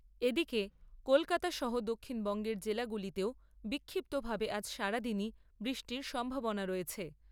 এদিকে, কলকাতা সহ দক্ষিণবঙ্গের জেলাগুলিতেও বিক্ষিপ্তভাবে আজ সারাদিনই বৃষ্টির সম্ভাবনা রয়েছে।